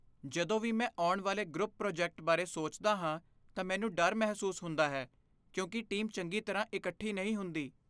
ਜਦੋਂ ਵੀ ਮੈਂ ਆਉਣ ਵਾਲੇ ਗਰੁੱਪ ਪ੍ਰੋਜੈਕਟ ਬਾਰੇ ਸੋਚਦਾ ਹਾਂ ਤਾਂ ਮੈਨੂੰ ਡਰ ਮਹਿਸੂਸ ਹੁੰਦਾ ਹੈ ਕਿਉਂਕਿ ਟੀਮ ਚੰਗੀ ਤਰ੍ਹਾਂ ਇਕੱਠੀ ਨਹੀਂ ਹੁੰਦੀ।